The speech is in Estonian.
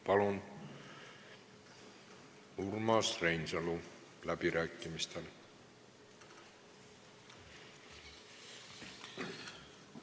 Palun Urmas Reinsalu läbirääkimistele!